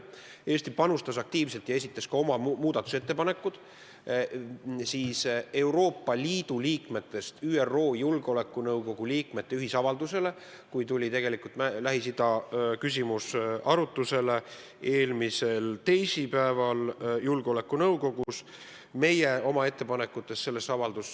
Eesti panustas aktiivselt ja esitas ka oma muudatusettepanekud Euroopa Liidu riikidest ÜRO Julgeolekunõukogu liikmete ühisavalduse kohta, kui Lähis-Ida küsimus eelmisel teisipäeval julgeolekunõukogus arutusele tuli.